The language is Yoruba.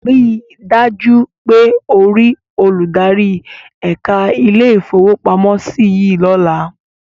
Ríi dájú pé o rí olùdarí ẹ̀ka ilé-ìfowópamọ́sí yìí lọ́la.